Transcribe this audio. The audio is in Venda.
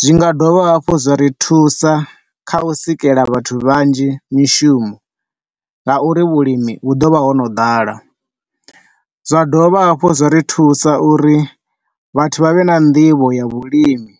zwi nga dovha hafhu zwa ri thusa kha u sikela vhathu vhanzhi mishumo nga uri vhulimi hu ḓo vha ho no ḓala. Zwa dovha hafhu zwa ri thusa uri vhathu vha vhe na nḓivho ya vhulimi.